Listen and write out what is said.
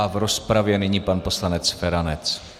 A v rozpravě nyní pan poslanec Feranec.